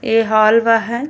ए hall बा ह --